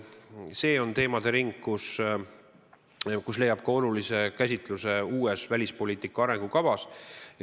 See on teemade ring, mis leiab olulise käsitluse uues välispoliitika arengukavas.